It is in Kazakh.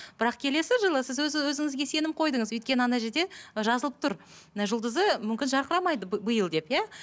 бірақ келесі жылы сіз өз і өзіңізге сенім қойдыңыз өйткені жерде жазылып тұр і жұлдызы мүмкін жарқырамайды биыл деп иә